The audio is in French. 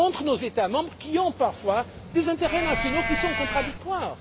Entre nos États membres, qui ont parfois des intérêts nationaux contradictoires.